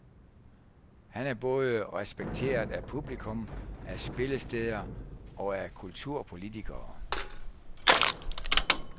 Han er både respekteret af publikum, af spillesteder og af kulturpolitikere.